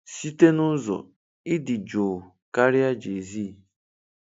Site n'ụzọ, ị dị jụụ karịa JayZ.